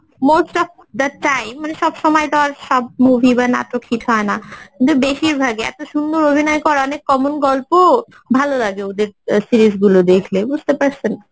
most of the time মানে সব সময় তো সব movie বা নাটক hit হয় না কিন্তু বেশিরভাগই এত সুন্দর অভিনয় করা অনেক common গল্প ভালো লাগে ওদের series গুলো দেখলে বুঝতে পারছেন?